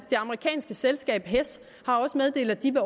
det amerikanske selskab hess har også meddelt at de vil